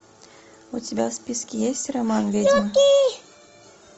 у тебя в списке есть роман ведьма